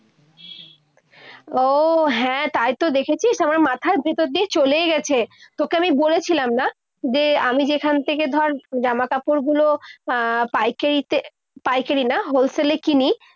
ও হ্যাঁ, তাইতো দেখেছিস, আমার মাথার ভিতর দিয়ে চলেই গেছে। তোকে আমি বলেছিলাম না যে আমি যেখান থেকে ধর জামাকাপড়গুলো পাইকারিতে পাইকারি না wholesale কিনি